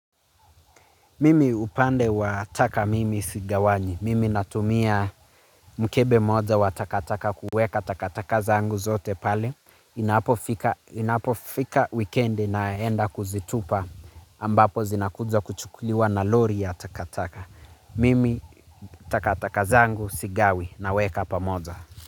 Mimi upande wa taka mimi sigawanyi. Mimi natumia mkebe mmoja wa takataka kuweka takataka zangu zote pale. Inapofika inapofika wikendi naenda kuzitupa ambapo zinakuja kuchukuliwa na lori ya takataka. Mimi takataka zangu sigawi naweka pamoja.